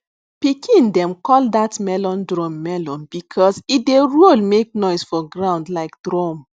pikin dem call that melon drum melon because e dey roll make noise for ground like drum